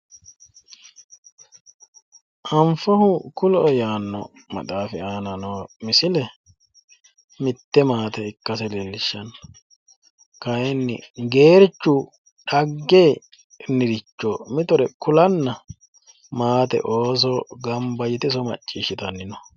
anfohu kuloe yaanno maxaafi aana noo misile kayiinni geerchu xaggennire kulanna ooso maate iso macciishshitanni no.